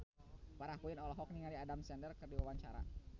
Farah Quinn olohok ningali Adam Sandler keur diwawancara